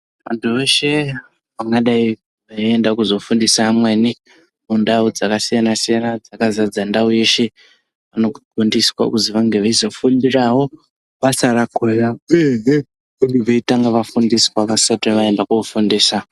Antu eshe angadai eizofundisa amweni Mundau dzakasiyana siyana akazadza ndau yeshe vanofundisa kuti vange veizofundirawo basa rako uyehe vanenge veitanga vafundiswa vasati vaenda kofundiswa.